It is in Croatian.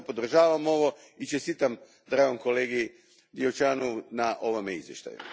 Zato podržavam ovo i čestitam dragom kolegi Diaconu na ovom izvještaju.